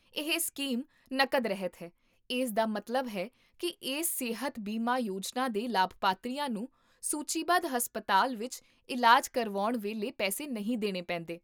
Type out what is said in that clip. ਇਹ ਸਕੀਮ ਨਕਦ ਰਹਿਤ ਹੈ, ਇਸ ਦਾ ਮਤਲਬ ਹੈ ਕੀ ਇਸ ਸਿਹਤ ਬੀਮਾ ਯੋਜਨਾ ਦੇ ਲਾਭਪਾਤਰੀਆਂ ਨੂੰ ਸੂਚੀਬੱਧ ਹਸਪਤਾਲ ਵਿੱਚ ਇਲਾਜ ਕਰਵਾਉਣ ਵੇਲੇ ਪੈਸੇ ਨਹੀਂ ਦੇਣੇ ਪੈਂਦੇ